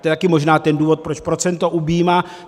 To je taky možná ten důvod, proč procento ubývá.